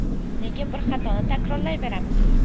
Nega bir xatoni takrorlayveramiz?